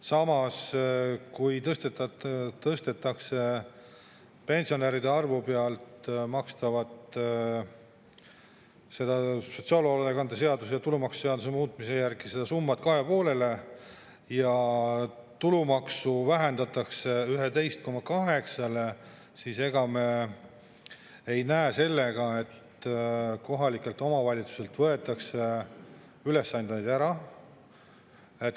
Samas, kui sotsiaalhoolekande seaduse ja tulumaksuseaduse muutmise järel tõstetakse pealt makstava tulumaksu osa 2,5%-ni ja muu tulumaksu vähendatakse 11,8%-ni, siis ega me ei näe, et kohalikelt omavalitsustelt võetakse selle tõttu ülesandeid ära.